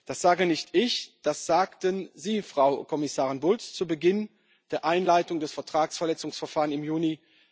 Das sage nicht ich, das sagten Sie, Frau Kommissarin Bulc, zu Beginn der Einleitung des Vertragsverletzungsverfahrens im Juni